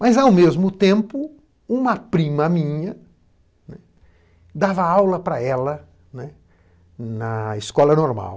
Mas, ao mesmo tempo, uma prima minha, né, dava aula para ela, né, na escola normal.